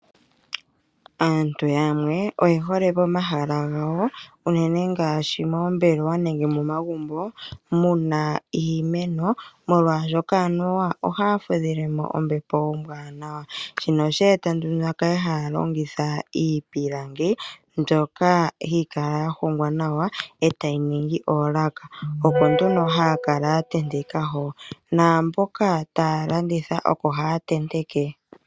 Aantu yamwe oye hole pomahala gawo unene ngaashi moombelewa nenge momagumbo mu na iimeno, molwashoka anuwa ohaya fudhile mo ombepo ombwaanawa shino oshe eta nduno ya kale haya longitha iipilangi mbyoka hayi kala ya hongwa nawa e tayi ningi oolaka. Oko nduno haya kala ya tenteka hoka naamboka taya landitha oko haya tenteke.